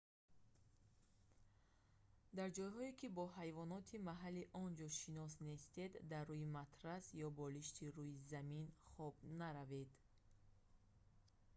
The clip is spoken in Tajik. дар ҷойҳое ки бо ҳайвоноти маҳаллии он ҷо шинос нестед дар рӯи матрас ё болишти рӯи замин хоб наравед